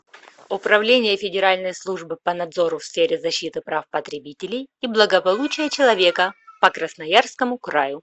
управление федеральной службы по надзору в сфере защиты прав потребителей и благополучия человека по красноярскому краю